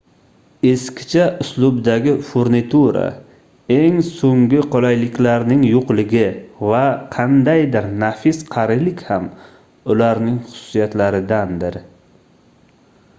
eskicha uslubdagi furnitura eng soʻngi qulayliklarning yoʻqligi va qandaydir nafis qarilik ham ularning xususiyatlaridandir